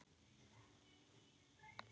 Helga: Hefurðu áhyggjur af þeim?